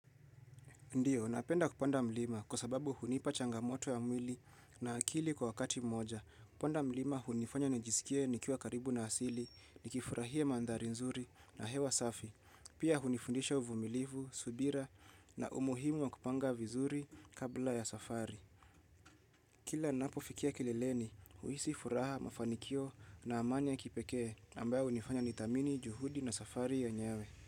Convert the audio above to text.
Ndiyo, ninapenda kupanda mlima kwa sababu hunipa changamoto ya mwili na akili kwa wakati mmoja. Kupanda mlima, hunifanya nijisikie nikiwa karibu na asili, nikifurahia mandhari nzuri na hewa safi. Pia hunifundisha uvumilivu, subira na umuhimu wa kupanga vizuri kabla ya safari. Kila ninapo fikia kileleni, huhisi furaha mafanikio na amani ya kipekee ambayo hunifanya nithamini, juhudi na safari yenyewe.